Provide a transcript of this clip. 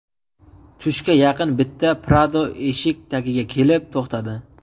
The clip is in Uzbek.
Tushga yaqin bitta Prado eshik tagiga kelib to‘xtadi.